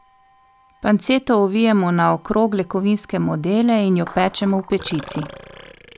Panceto ovijemo na okrogle kovinske modele in jo pečemo v pečici.